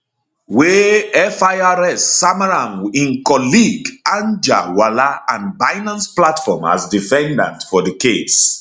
wey firs sama am im colleague anjarwalla and binance platform as defendants for di case